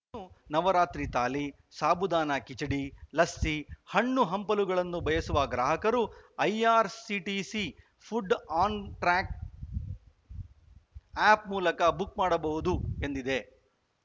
ಇನ್ನು ನವರಾತ್ರಿ ಥಾಲಿ ಸಾಬುದಾನ ಕಿಚಡಿ ಲಸ್ಸಿ ಹಣ್ಣು ಹಂಪಲುಗಳನ್ನು ಬಯಸುವ ಗ್ರಾಹಕರು IRCTC food on track app ಮೂಲಕ ಬುಕ್‌ ಮಾಡಬಹುದು ಎಂದಿದೆ